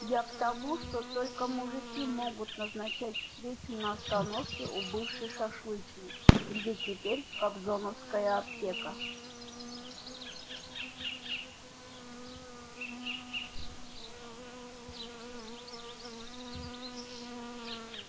я к тому что только мужики могут назначать встречу на остановке у бывшей шашлычной где теперь кобзоновская аптека